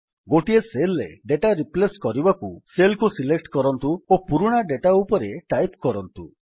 ଗୋଟିଏ ସେଲ୍ ରେ data replace କରିବାକୁ ସେଲ୍ କୁ ସିଲେକ୍ଟ କରନ୍ତୁ ଓ ପୁରୁଣା ଡେଟା ଉପରେ ଟାଇପ୍ କରନ୍ତୁ